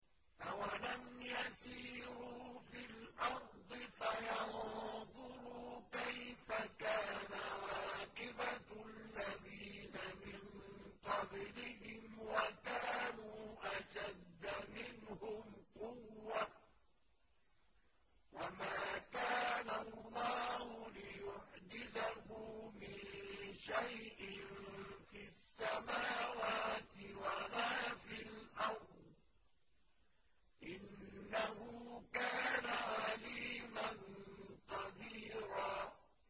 أَوَلَمْ يَسِيرُوا فِي الْأَرْضِ فَيَنظُرُوا كَيْفَ كَانَ عَاقِبَةُ الَّذِينَ مِن قَبْلِهِمْ وَكَانُوا أَشَدَّ مِنْهُمْ قُوَّةً ۚ وَمَا كَانَ اللَّهُ لِيُعْجِزَهُ مِن شَيْءٍ فِي السَّمَاوَاتِ وَلَا فِي الْأَرْضِ ۚ إِنَّهُ كَانَ عَلِيمًا قَدِيرًا